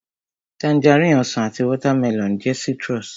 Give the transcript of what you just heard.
Tangerine, Ọsàn àti watermelon jẹ́ citrus